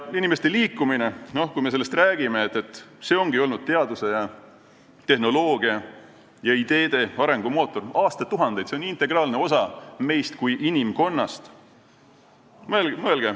Inimeste liikumine, kui me sellest räägime, ongi olnud teaduse ja tehnoloogia ning ideede arengumootor aastatuhandeid, see on integraalne osa meist kui inimkonnast.